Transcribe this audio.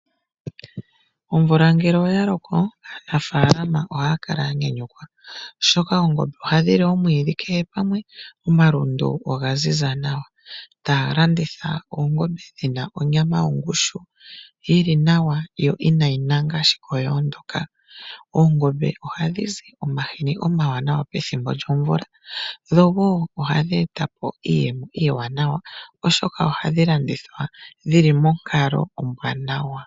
Omvula ngele oya loko aanafalama ohaya kala ya nyanyukwa oshoka oongombe ohadhi li omwiidhi kehe pamwe, omalundu oga ziza nawa taya landitha oongombe dhi na onyama yongushu, yi li nawa yo inadhi nanga dho odha ondoka. Ongombe ohadhi zi omahini omawanawa pethimbo lyomvula noho ohadhi e ta po iiyemo iiwanawa oshoka ohadhi landithwa dhi li monkalo ombwaanawa.